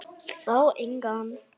Sá engan.